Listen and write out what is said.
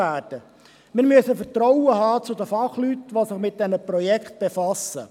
Wir müssen Vertrauen in die Fachleute haben, die sich mit den Projekten befassen.